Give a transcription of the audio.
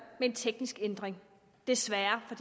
med en teknisk ændring desværre